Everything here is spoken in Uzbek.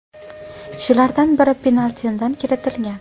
Shulardan biri penaltidan kiritilgan.